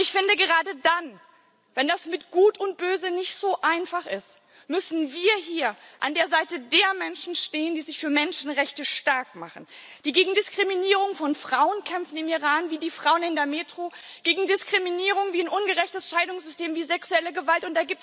Aber ich finde, gerade dann, wenn das mit Gut und Böse nicht so einfach ist, müssen wir hier an der Seite der Menschen stehen, die sich für Menschenrechte starkmachen, die im Iran gegen Diskriminierung von Frauen kämpfen, wie die Frauen in der Metro, gegen Diskriminierung wie ein ungerechtes Scheidungssystem, wie sexuelle Gewalt.